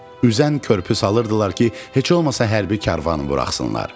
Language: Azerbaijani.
Üzən körpü salırdılar ki, heç olmasa hərbi karvanı buraxsınlar.